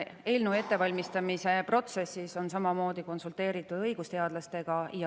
Eelnõu ettevalmistamise protsessis on samamoodi konsulteeritud õigusteadlastega.